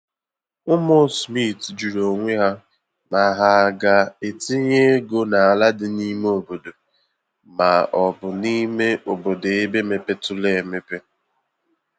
Ụmụ Smith jụrụ onwe ha ma ha ga-etinye ego n’ala dị n’ime obodo ma ọ bụ n'ime obodo ebe mepeturu emepe